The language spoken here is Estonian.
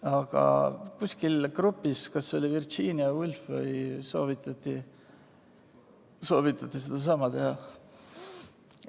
Aga kuskil grupis, kas see oli Virginia Woolf vms, soovitati sedasama teha.